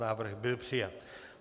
Návrh byl přijat.